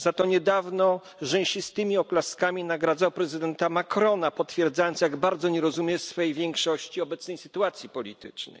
Za to niedawno rzęsistymi oklaskami nagradzał prezydenta Marcona, potwierdzając, jak bardzo nie rozumie w swej większości obecnej sytuacji politycznej.